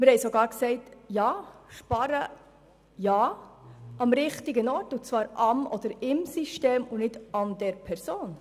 Wir sagen sogar, sparen ja, aber am richtigen Ort, und zwar im System und nicht an der Person.